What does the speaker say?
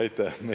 Aitäh!